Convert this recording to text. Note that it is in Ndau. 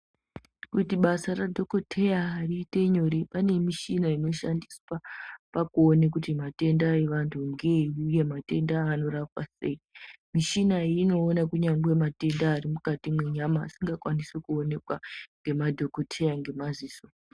Kuti basa radhogodheya riite nyore pane mishina inoshandiswa pakuone kuti matenda evantu ngeeyi uye matenda aya anorapwa sei. Mishina iyi inoona kunyangwe matenda arimukati mwenyama asingakwanisi kuonekwa ngemadhokoteya ngemaziso.